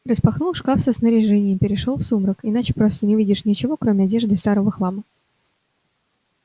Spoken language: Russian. распахнул шкаф со снаряжением перешёл в сумрак иначе просто не видишь ничего кроме одежды и старого хлама